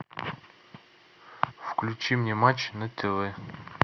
включи мне матч на тв